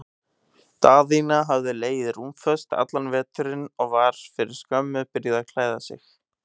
Daðína hafði legið rúmföst allan veturinn og var fyrir skömmu byrjuð að klæða sig.